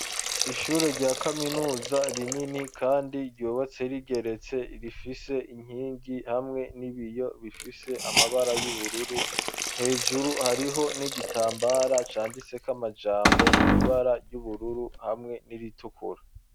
Ishure rya kaminuza, rinini, kandi ryubatse rigeretse, rifise inkingi, hamwe n'ibiyo bifise amabara, y'ubururu; hejuru, hariho n'igitambara, canditseko amajambo, mw’ibara ry'ubururu, hamwe n'iritukura.